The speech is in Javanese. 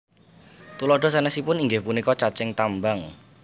Tuladha sanesipun inggih punika cacing tambang